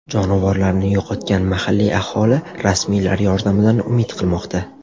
Jonivorlarini yo‘qotgan mahalliy aholi rasmiylar yordamidan umid qilmoqda.